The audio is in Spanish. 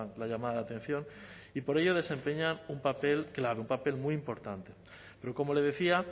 la llamada de atención y por ello desempeñan un papel clave un papel muy importante pero como le decía